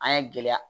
An ye gɛlɛya